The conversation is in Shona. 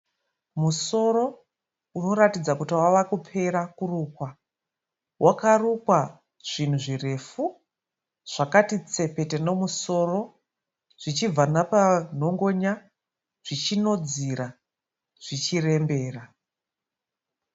Musoro unoratidza kuti wave kupera kurukwa. Wakarukwa zvinhu zvirefu. Zvakati tsepete nomusoro, zvichibva napa nhongonya zvichinodzira zvichirembera.